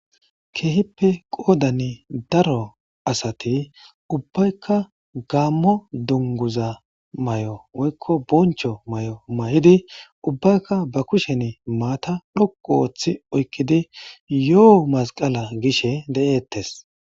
kehippe qodani daro asati ubbaykka gammo dunguza may'o woykko boncho may'o may'idi ubaykka ba kushen matta dhoqu ooththi oykkidi yo'oo masqala gishe de'eettes